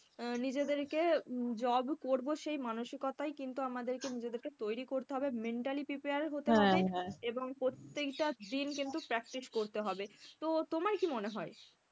আহ নিজেদেরকে job করবো সেই মানসিকতায় কিন্তু আমাদেরকে নিজেদেরকে তৈরি করতে হবে, mentally prepare হতে হবে এবং প্রত্যেকটা দিন কিন্তু practice করতে হবে। তো তোমার কি মনে হয়?